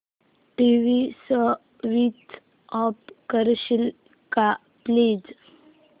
TV switch off करशील का please